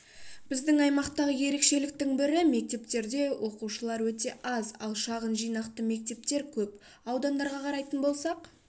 біздің аймақтағы ерекшеліктің бірі мектептерде оқушылар өте аз ал шағын жинақты мектептер көп аудандарға қарайтын болсақ